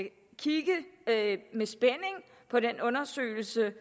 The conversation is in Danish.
kigge med spænding på den undersøgelse